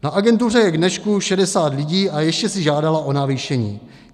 Na agentuře je k dnešku 60 lidí, a ještě si žádala o navýšení.